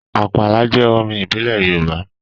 Àpàlà jẹ́ orin ìbílẹ̀ Yorùbá